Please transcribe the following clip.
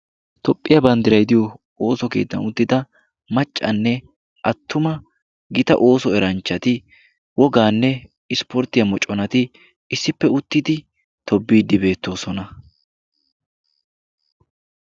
Tophphiyaa banddiray diyo ooso geeddan uttida maccanne attuma gita ooso eranchchati wogaanne ispporttiyaa moconati issippe uttidi tobiiddi beettoosona.